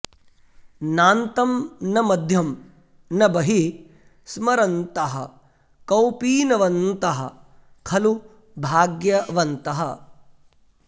नान्तं न मध्यं न बहिः स्मरन्तः कौपीनवन्तः खलु भाग्यवन्तः